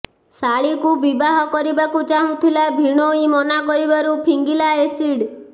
ଶାଳୀକୁ ବିବାହ କରିବାକୁ ଚାହୁଁଥିଲା ଭିଣୋଇ ମନା କରିବାରୁ ଫିଙ୍ଗିଲା ଏସିଡ୍